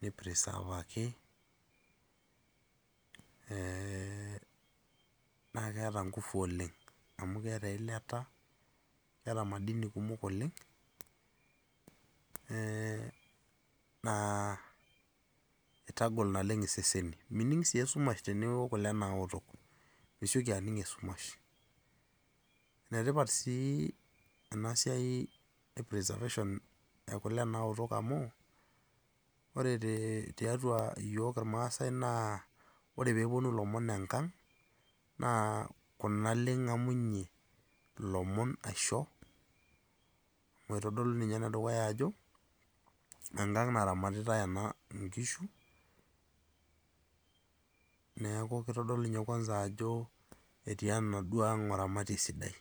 niprisavaki naa keeta nguvu oleng' amu keetaa eilata neeta madini kumok oleng' naa eitagol naleng' iseseni. Mining' sii esumash tiniyiok kule naoto, misioki aning' esumash. Enetipat sii enaa siai e preservation e kule naoto amu, ore te tiatua iyiok ilmaasai naa ore pee wuonu ilomon enkang' naa kuna le ing'amunye ilomon aisho, eitodolu ninye ene dukuya ajo enkang' naramatitai ena inkishu, neaku eitodolu ninye kwanza ajo etii enaduoo ang' oramatie sidai.